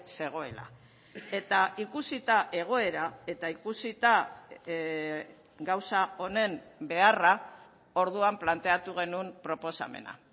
zegoela eta ikusita egoera eta ikusita gauza honen beharra orduan planteatu genuen proposamena